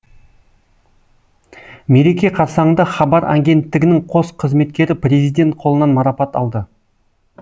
мереке қарсаңында хабар агенттігінің қос қызметкері президент қолынан марапат алды